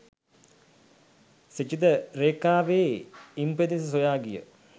ක්ෂිතිජ රේඛාවේ ඉම් පෙදෙස සොයා ගිය